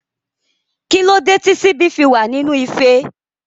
Kílódé tí síbí fi wa nínú ife?